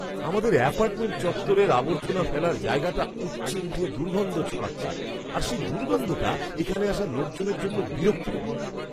আমাদের অ্যাপার্টমেন্ট চত্বরের আবর্জনা ফেলার জায়গাটা উপচে উঠে দুর্গন্ধ ছড়াচ্ছে আর সেই দুর্গন্ধটা এখানে আসা লোকজনের জন্য বিরক্তিকর।